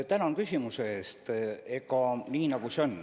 Tänan küsimuse eest!